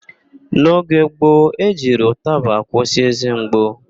N'oge gbo, e jiri ụtaba akwụsị ézé mgbu.